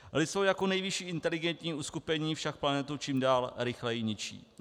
Lidstvo jako nejvyšší inteligentní uskupení však planetu čím dál rychleji ničí.